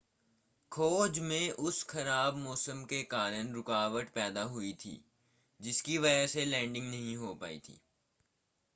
खोज में उस ख़राब मौसम के कारण रुकावट पैदा हुई थी जिसकी वजह से लैंडिंग नहीं हो पाई थी